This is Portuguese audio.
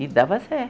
E dava